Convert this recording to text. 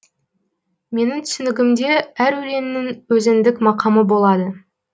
менің түсінігімде әр өлеңнің өзіндік мақамы болады